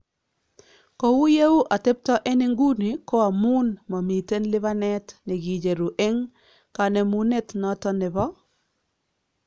Kou yeuu atebto en inguni ko amuun mamiten lipanet nekicheruu en kanemunet noton nebo